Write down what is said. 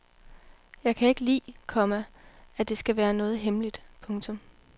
Jeg kan ikke lide, komma at det skal være noget hemmeligt. punktum